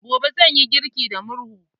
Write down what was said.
Gobe, zan yi girki da murhu.